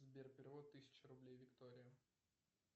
сбер перевод тысяча рублей виктория